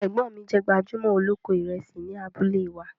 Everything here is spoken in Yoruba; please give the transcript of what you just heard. Ẹgbọ́n mi jẹ̀ gbajúmọ̀ oloko Ìrẹ̀sì ní àbúlẹ̀ wa.